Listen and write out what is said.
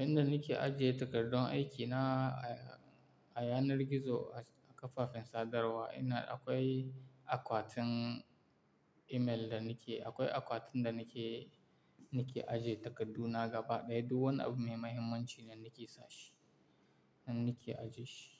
Inda nake ajiye takardun aikina a yanar gizo a kafafen sadarwa, inda akwai akwatin email da nake, akwai akwatin da nake, nake ajiye takardu na gaba ɗaya. Duk wani abu mai mahimmanci da nake sashi, nan nake ajiye shi.